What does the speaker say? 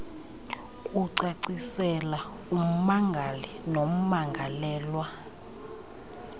kucacisela ummangali nommangalelwa